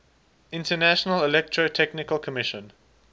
international electrotechnical commission